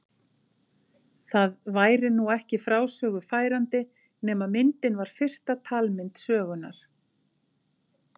Það væri nú ekki frásögu færandi nema myndin var fyrsta talmynd sögunnar.